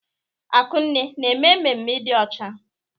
Akunne na-eme emume ịdị ọcha?